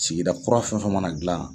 Sigida kura fɛn fɛn mana dilan.